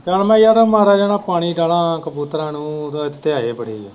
ਕੰਮ ਯਾਰ ਮਾੜਾ ਮਾੜਾ ਪਾਣੀ ਪਾਉਣਾ ਕਬੂਤਰਾਂ ਨੂੰ ਤਿਆਏ ਬੜੇ ਹੈ।